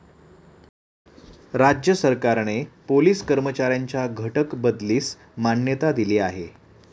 राज्य सरकारने पोलीस कर्मचाऱ्यांच्या घटक बदलीस मान्यता दिली आहे.